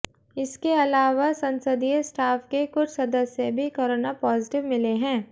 इसके अलावा संसदीय स्टाफ के कुछ सदस्य भी कोरोना पॉजिटिव मिले हैं